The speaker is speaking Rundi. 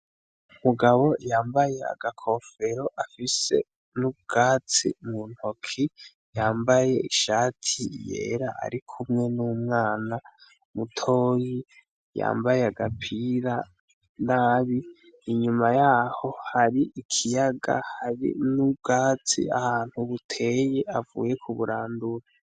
Umugabo yambaye agakofero afise n'ubwatsi mu ntoki yambaye ishati yera ari kumwe n'umwana mutoyi yambaye agapira nabi inyuma yaho hari ikiyaga hari n'ubwatsi ahantu mubuteye avuye ku burandure.